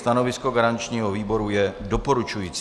Stanovisko garančního výboru je doporučující.